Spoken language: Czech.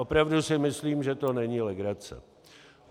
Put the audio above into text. Opravdu si myslím, že to není legrace.